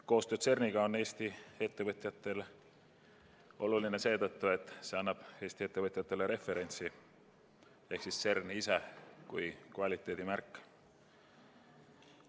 Koostöö CERN-iga on Eesti ettevõtjatele oluline ka seetõttu, et see annab Eesti ettevõtjatele referentsi ehk CERN ise on kvaliteedimärk.